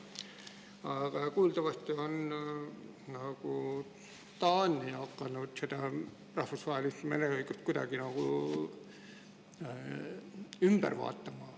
Aga kuuldavasti on Taani hakanud rahvusvahelist mereõigust kuidagi nagu ümber hindama.